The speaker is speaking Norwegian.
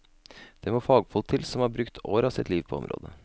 Det må fagfolk til som har brukt år av sitt liv på området.